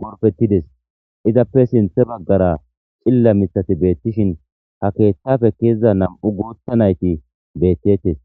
gorpettides izappe sinthe baggara cilla misati beettishin ha keeththafe keezida nam7u gootha nayti beettettes